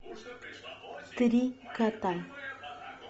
три кота